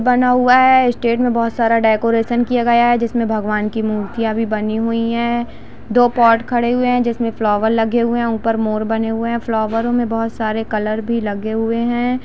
बना हुआ हैं स्टेज पे बहुत सारा डेकरैशन किया गया हैं जिस मे भगवान की मूर्तिया भी बनी हुई हैं दो पोट खड़े हुए हैं जिस मे फ्लावर लगे हुए हैं ऊपर मोर बने हुए हैं फ्लावरों मे बहुत सारे कलर भी लगे हुए हैं।